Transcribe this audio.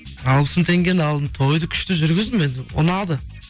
алпыс мың теңгені алдым тойды күшті жүргіздім енді ұнады